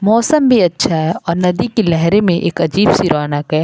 मौसम भी अच्छा है और नदी की लहरे में एक अजीब सी रौनक है।